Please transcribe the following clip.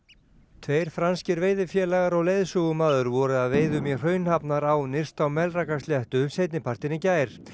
tveir franskir veiðifélagar og leiðsögumaður voru að veiðum í nyrst á Melrakkasléttu seinni partinn í gær